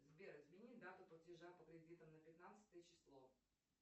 сбер измени дату платежа по кредитам на пятнадцатое число